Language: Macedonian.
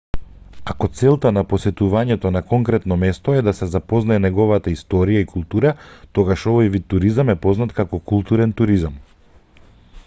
ако целта на посетувањето конкретно место е да се запознае неговата историја и култура тогаш овој вид туризам е познат како културен туризам